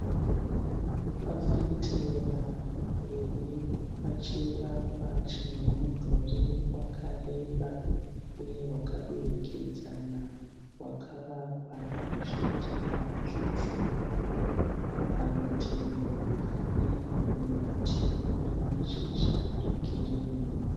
Fafitera riri pachivakwa chine mudhuri wakareba uye wakadurikidzana wakavakwa nezvidhina zvitsvuku. Parutivi pane muti une mashizha egirini.